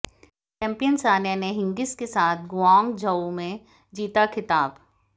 champion Sania ने Hingis के साथ गुआंगझोऊ में जीता ख़िताब